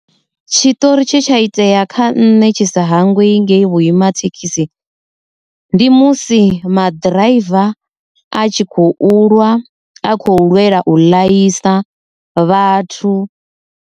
Tshiṱori tshe tsha itea kha nṋe tshi sa hanngwei ngei vhuima thekhisi, ndi musi maḓiraiva a tshi kho u lwa a kho lwela u ḽaisa vhathu.